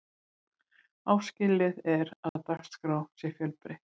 áskilið er að dagskrá sé fjölbreytt